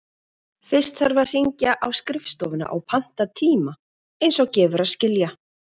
Fyrst þarf að hringja á skrifstofuna og panta tíma, eins og gefur að skilja.